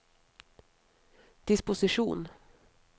disposisjon